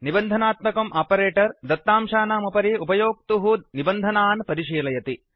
निबन्धनात्मकम् operator दत्तांशानामुपरि उपयोक्तुः निबन्धनान् परिशीलयति